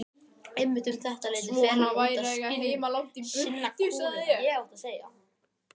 Einmitt um þetta leyti fer hann út að sinna kúnum.